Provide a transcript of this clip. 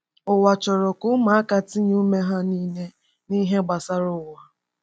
Ụwa chọrọ ka ụmụaka tinye ume ha niile n’ihe gbasara ụwa.